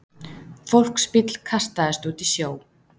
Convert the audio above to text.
Fólksbíll kastaðist út í sjó